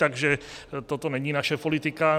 Takže toto není naše politika.